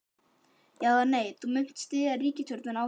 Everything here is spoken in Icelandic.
Já, eða nei, munt þú styðja ríkisstjórnina áfram?